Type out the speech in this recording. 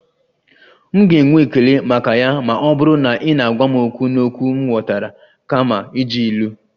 M ga-enwe ekele maka ya ma ọ bụrụ na ị na-agwa m okwu n'okwu m ghọtara kama iji ilu